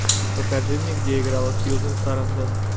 покажи мне где играла сьюзен сарандон